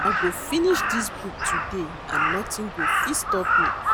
I go finish dis book today and nothing go fit stop me